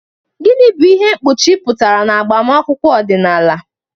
Gịnị bụ ihe mkpuchi pụtara n'agbamakwụkwọ ọdịnala?